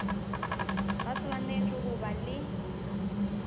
ba swanetše go ba le